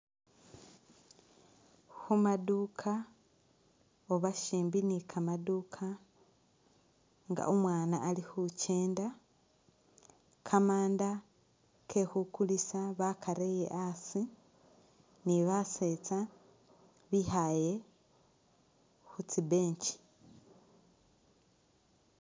Khumaduka oba shimbi ne kamaduka nga umwana ali khukenda, kamanda ke khukulisa bakarele asi ne basetsa bikhaaye khu tsi'bench.